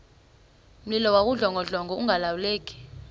mlilo wawudlongodlongo ungalawuleki